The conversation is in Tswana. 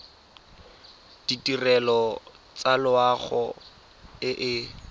ditirelo tsa loago e e